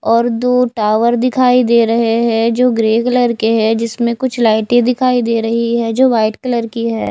और दो टॉवर दिखाई दे रहे है जो ग्रे कलर के हैं जिसमें कुछ लाइटें दिखाई दे रही है जो व्हाइट कलर की है।